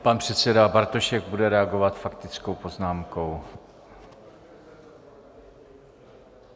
Pan předseda Bartošek bude reagovat faktickou poznámkou.